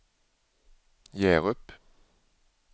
Hjärup